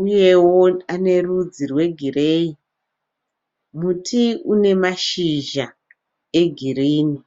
uyewo anerudzi rwegireyi. Muti une mashizha egirini.